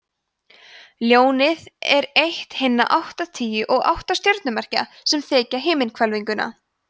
ljónið er eitt hinna áttatíu og átta stjörnumerkja sem þekja himinhvelfinguna